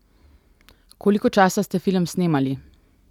Koliko časa ste film snemali?